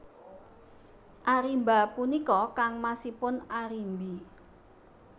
Arimba punika kangmasipun Arimbi